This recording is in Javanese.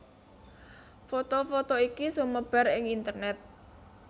Foto foto iki sumebar ing internèt